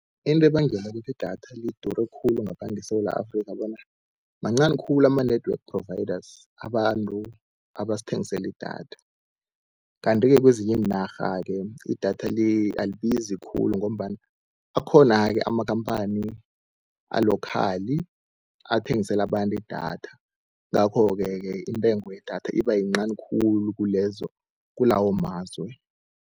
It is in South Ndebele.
Into ebangela ukuthi idatha lidure khulu ngapha ngeSewula Afrikha, bona mancani khulu ama-network providers abantu abasathengisela idatha. Kanti-ke kezinye iinarha-ke idatha alibizi khulu, ngombana akhona-ke amakhamphani alokhali athengisela abantu idatha. Ngakhoke-ke intengo yedatha iba yincani khulu kulawo mazwe.